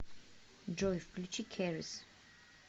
джой включи кэрис